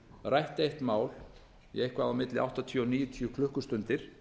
rætt eitt mál í eitthvað á milli áttatíu til níutíu klukkustundir